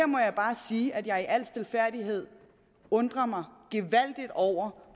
må jeg bare sige at jeg i al stilfærdighed undrer mig gevaldigt over